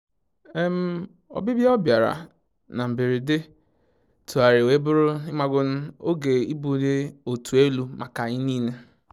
Ọbibịa ọ bịara na mgberede tugharịrị wee bụrụ oge ibuli otu elu maka anyị niile